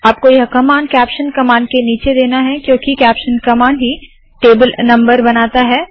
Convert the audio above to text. आपको यह command caption command के नीचे देना है क्योंकि कैप्शन कमांड ही टेबल नम्बर बनाता है